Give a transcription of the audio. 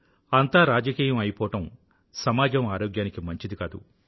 అంతా రాజకీయం అయిపోవడం సమాజం ఆరోగ్యానికి మంచిది కాదు